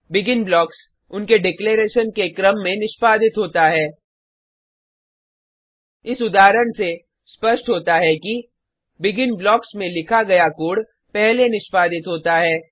begin blocks उनके declaration के क्रम में निष्पादित होता है इस उदाहरण से स्पष्ट होता है कि बेगिन ब्लॉक्स में लिखा गया कोड पहले निष्पादित होता है